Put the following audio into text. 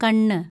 കണ്ണ്